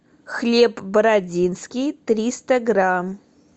хлеб бородинский триста грамм